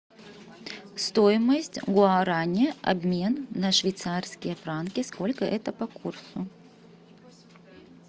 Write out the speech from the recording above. стоимость гуарани обмен на швейцарские франки сколько это по курсу